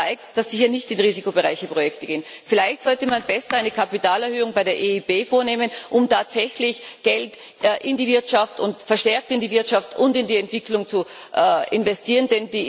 Das zeigt, dass Sie hier nicht in risikoreiche Projekte gehen. Vielleicht sollte man besser eine Kapitalerhöhung bei der EIB vornehmen, um tatsächlich Geld verstärkt in die Wirtschaft und in die Entwicklung zu investieren.